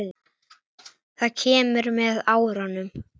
Það kemur með árunum.